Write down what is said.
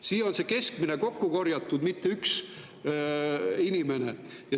See on kokku korjatud keskmine, mitte ühe inimese.